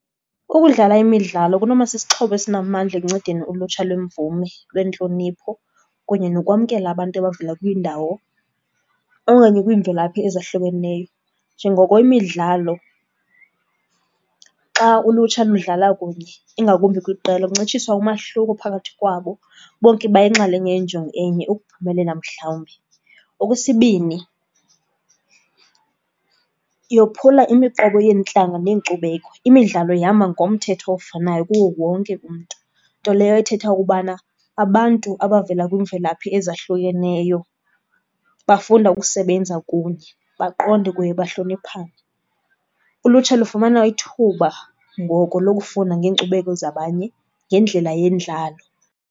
Ukudlala imidlalo kunoba sisixhobo esinamandla ekuncedeni ulutsha lwemvume, lwentlonipho kunye nokwamkela abantu abavela kwiindawo okanye kwiimvelaphi ezahlukeneyo. Njengoko imidlalo xa ulutsha ludlala kunye, ingakumbi kwiqela, kuncitshiswa umahluko phakathi kwabo. Bonke bayinxalenye yenjongo enye, ukuphumelela mhlawumbi. Okwesibini, yophula imiqobo yeentlanga neenkcubeko. Imidlalo ihamba ngomthetho ofanayo kuwo wonke umntu, nto leyo ethetha ukubana abantu abavela kwiimvelaphi ezahlukeneyo bafunda ukusebenza kunye, baqonde kunye bahloniphane. Ulutsha lufumana ithuba ngoko lokufunda ngeenkcubeko zabanye ngendlela yendlalo.